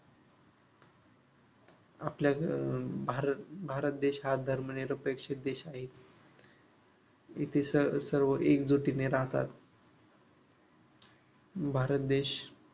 आपल्या अह भारत भारत देश हा धर्मनिरपेक्षक देश आहे इथे सर्व एकजुटीने राहतात भारत देश